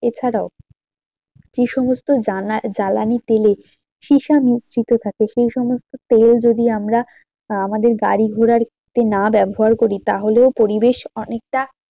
এছাড়াও যে সমস্ত জ্বালানি তেলে সীসা মিশ্রিত থাকে সেই সমস্ত তেল যদি আমরা আমাদের গাড়ি ঘোড়াতে না ব্যবহার করি তাহলেও পরিবেশ অনেকটা